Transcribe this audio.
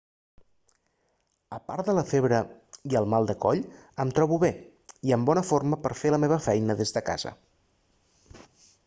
apart de la febre i el mal de coll em trobo bé i en bona forma per fer la meva feina des de casa